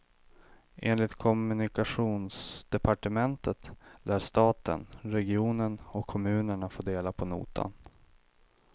Enligt kommunikationsdepartementet lär staten, regionen och kommunerna få dela på notan.